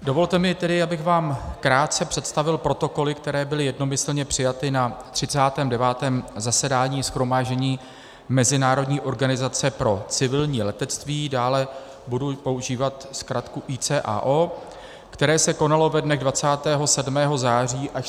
Dovolte mi tedy, abych vám krátce představil protokoly, které byly jednomyslně přijaty na 39. zasedání Shromáždění Mezinárodní organizace pro civilní letectví, dále budu používat zkratku ICAO, které se konalo ve dnech 27. září až 7. října 2016 v Montrealu.